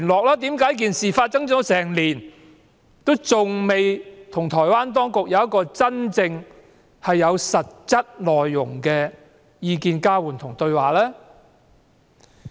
為甚麼在事件發生一整年後，還未與台灣有實質的交換意見和對話呢？